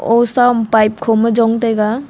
ao sa am pipe kho ma jong taiga.